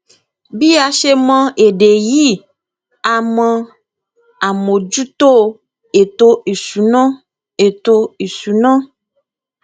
bí a ṣe mọ èdè yìí a mọ àmójútó ètò ìṣúná ètò ìṣúná